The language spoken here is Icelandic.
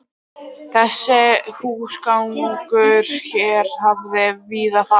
Þessi húsgangur hér hafði víða farið